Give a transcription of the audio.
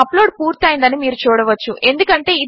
మన అప్లోడ్ పూర్తి అయ్యిందని మీరు చూడవచ్చు